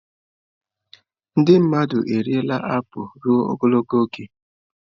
Ndị mmadụ eriela apụl ruo ogologo oge.